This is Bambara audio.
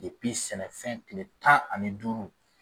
sɛnɛfɛn tile tan ani duuru